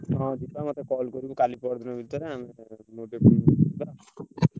ହଁ ଯିବା ମତେ call କାଲି ପରଦିନ ଭିତିରେ